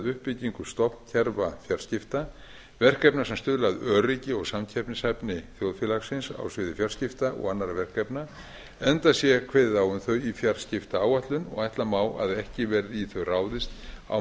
uppbyggingu stofnkerfafjarskipta verkefna sem stuðla að öryggi og samkeppnishæfni þjóðfélagsins á sviði fjarskipta og annarra verkefna enda sé kveðið á um þau í fjarskiptaáætlun og ætla má að ekki verði í þau ráðist á